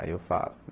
Aí eu falo.